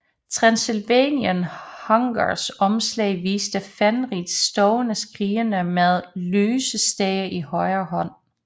Transilvanian Hungers omslag viste Fenriz stående skrigende med en lysestage i højre hånd